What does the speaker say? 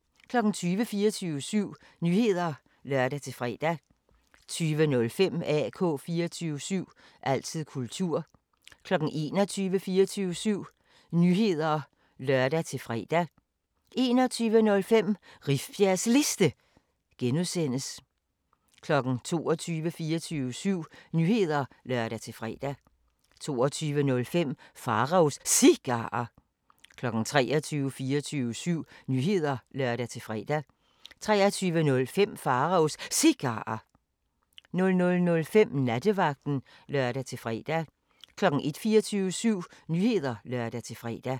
20:00: 24syv Nyheder (lør-fre) 20:05: AK 24syv – altid kultur 21:00: 24syv Nyheder (lør-fre) 21:05: Rifbjergs Liste (G) 22:00: 24syv Nyheder (lør-fre) 22:05: Pharaos Cigarer 23:00: 24syv Nyheder (lør-fre) 23:05: Pharaos Cigarer 00:05: Nattevagten (lør-fre) 01:00: 24syv Nyheder (lør-fre)